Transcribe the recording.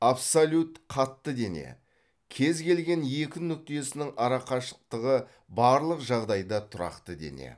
абсолют қатты дене кез келген екі нүктесінің ара қашықтығы барлық жағдайда тұрақты дене